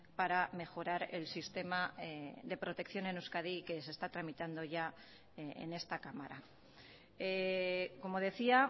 para mejorar el sistema de protección en euskadi que se está tramitando ya en esta cámara como decía